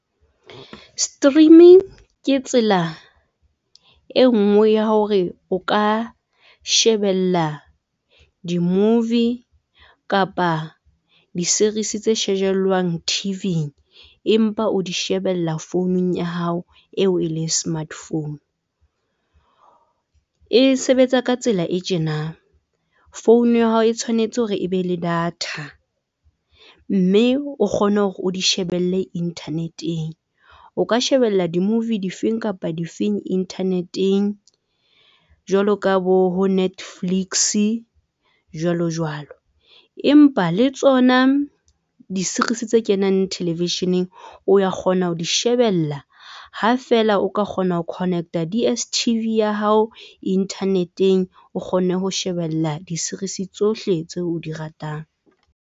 Streaming ke tsela e nngwe ya hore o ka shebella di-movie kapa di-series tse shejellwang T_V empa o di shebella founung ya hao eo e leng smart phone, e sebetsa ka tsela e tjenang. Phone ya hao e tshwanetse hore e be le data mme o kgone hore o di shebelle internet-eng. O ka shebella di-movie di feng kapa di feng internet-eng jwalo ka bo ho Netflix-e jwalo jwalo, empa le tsona di-series tse kenang television-eng, o ya kgona ho di shebella ha fela o ka kgona ho connect-a D_ S_ T _V ya hao internet-eng. O kgone ho shebella di-series tsohle tseo di ratang.